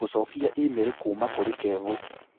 gũcokia e-mail kuuma kũrĩ kevo